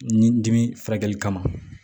Ni dimi furakɛli kama